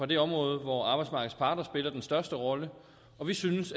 det område hvor arbejdsmarkedets parter spiller den største rolle og vi synes